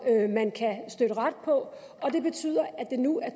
man kan støtte ret på og det betyder at det nu er